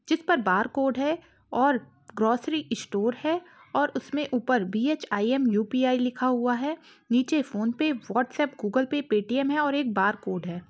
जिस पर बारकोड है और ग्रोसरी स्टोर है और उसमें ऊपर बी.एच.आइ.एम.यू.पी.आइ लिखा हुआ है नीचे PhonePe WhatsApp Google Pay Paytm है और एक बारकोड है।